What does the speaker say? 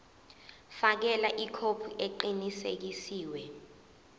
fakela ikhophi eqinisekisiwe